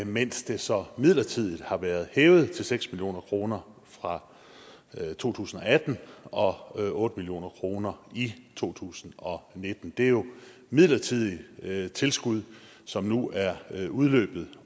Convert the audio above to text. mens det så midlertidigt har været hævet til seks million kroner fra to tusind og atten og otte million kroner i to tusind og nitten det er jo midlertidige tilskud som nu er udløbet